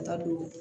Taa dun